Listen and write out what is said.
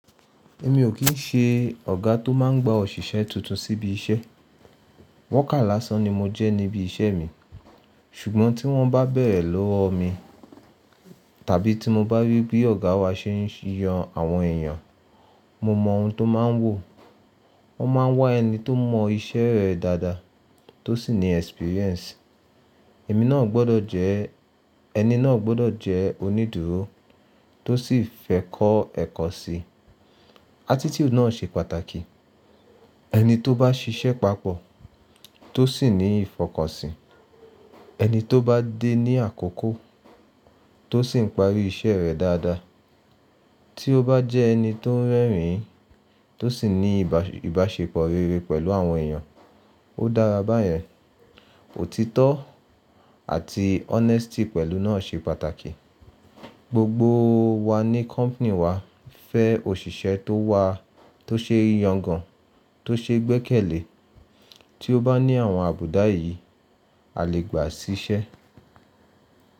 Mi ò kí ń ṣe ọ̀gá tó máa ń gba òṣìṣẹ́ tuntun síbi iṣẹ́. Worker lásán ni mo jẹ́ níbi iṣẹ́ mi. Ṣùgbọ́n tí wọ́n bá bẹ̀rẹ̀ lọ́wọ mi, tàbí tí mo bá rí pé ọ̀gá wa ṣe ń yan àwọn èeyàn, mo mọ ohun tó máa ń wò. Wọ́n máa ń wá ẹni tó mọ iṣẹ́ rẹ̀ dáadáa, tó sì ní experience. Emi naa gbodo je. Ẹni náà gbọ́dọ̀ jẹ́ onídùúró tó sì fẹ́ kó ẹ̀kọ́ sí i. Attitude náà ṣe pàtàkì. Ẹni tó bá ṣiṣẹ́ papọ̀, tó sì ní ìfọkànsìn, ẹni tó bá dé ní àkókò, tó sì ń parí iṣẹ́ rẹ̀ dáadáa, tí ó bá jẹ ẹni tó ń rẹ́rìn-ín, tó sì ní ìbáṣepọ̀ rere pẹ̀lú àwọn èèyàn, ó dára báyẹn. Òtítọ́ àti honesty pẹ̀lú náà ṣe pàtàkì. Gbogbo wa ní company wa fẹ́ òṣìṣẹ́ tó wà tó ṣe ìyàngàn, tó ṣe gbẹ́kẹ̀lé. Tí ó bá ní àwọn àbùdá yìí, a lè gbà sí ṣẹ́.